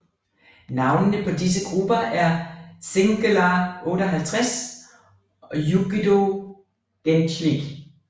Navnene på disse grupper er Çılgınlar 58 og Yiğido Gençlik